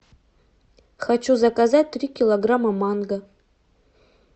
хочу заказать три килограмма манго